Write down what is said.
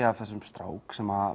af þessum strák sem